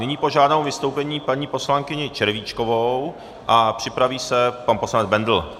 Nyní požádám o vystoupení paní poslankyni Červíčkovou a připraví se pan poslanec Bendl.